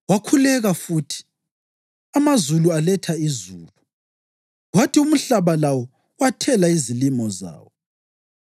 Wakhuleka futhi, amazulu aletha izulu, kwathi umhlaba lawo wathela izilimo zawo.